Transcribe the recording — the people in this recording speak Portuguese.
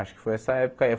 Acho que foi essa época aí.